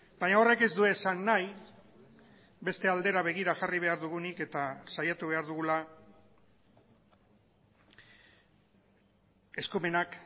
baina horrek ez du esan nahi beste aldera begira jarri behar dugunik eta saiatu behar dugula eskumenak